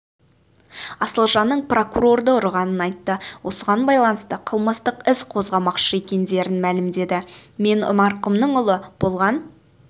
асылжанның прокурорды ұрғанын айтты осыған байланысты қылмыстық іс қозғамақшы екендерін мәлімдеді мен марқұмның ұлы болған